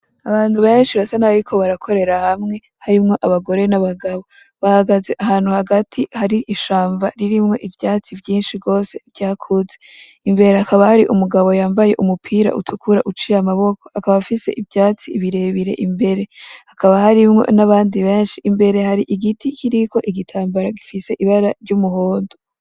Abantu benshi basa nkabariko barakorera hamwe harimwo abagore n'abagabo, bahagaze ahantu hagati hari ishamba ririmwo ivyatsi vyinshi gose vyakuze, imbere hakaba hari umugabo yambaye umupira utukura uciy' amaboko, akaba afise ivyatsi birebire imbere, hakaba harimwo n'abandi benshi, imbere hari igiti kiriko igitambara gifise ibara ry'umuhondo.